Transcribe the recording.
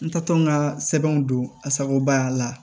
N taatɔ n ka sɛbɛnw don asakobaya la